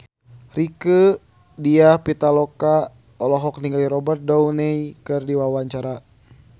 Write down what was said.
Rieke Diah Pitaloka olohok ningali Robert Downey keur diwawancara